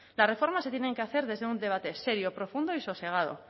las reformas se tienen que hacer desde un debate serio profundo y sosegado